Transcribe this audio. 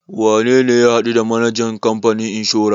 Wane ne ya haɗu the manajan kamfanin inshora?